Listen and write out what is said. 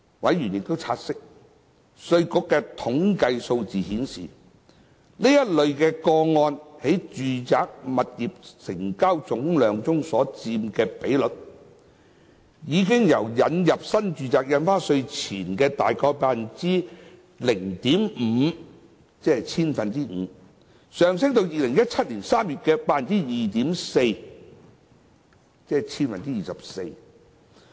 委員察悉，稅務局的統計數據顯示，該類個案在住宅物業總成交量中所佔的比率，已由引入新住宅印花稅前的約 0.5%， 上升至2017年3月的 2.4%。